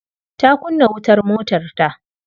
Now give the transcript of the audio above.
Ta kunna wutar motarta.